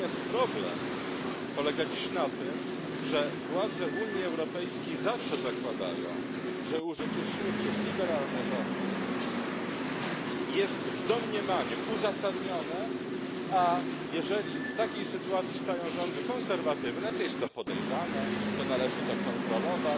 Problem natomiast polega dziś na tym, że władze Unii Europejskiej zawsze zakładają, że użycie siły przez liberalne rządy jest w domniemaniu uzasadnione, a jeżeli w takiej sytuacji stają rządy konserwatywne, to jest to podejrzane, to należy to kontrolować,